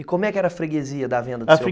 E como é que era a freguesia da venda do seu pai?